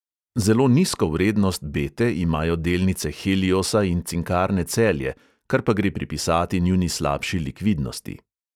Zelo nizko vrednost bete imajo delnice heliosa in cinkarne celje, kar pa gre pripisati njuni slabši likvidnosti.